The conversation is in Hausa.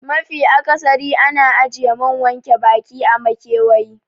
Mafi akasari ana ajiye man wanke baki a makewayi